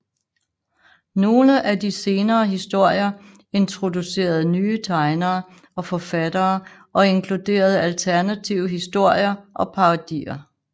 Nogle af de senere historier introducerede nye tegnere og forfattere og inkluderede alternative historier og parodier